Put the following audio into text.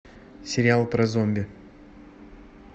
сериал про зомби